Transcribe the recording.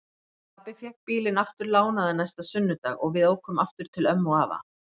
Pabbi fékk bílinn aftur lánaðan næsta sunnudag og við ókum aftur til ömmu og afa.